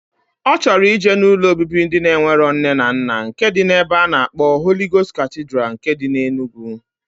O choro ije na ụlọ obibi ndi enwero nne na nna nke di na ebe ana akpo Holy Ghost Cathedral nke di na Enugu.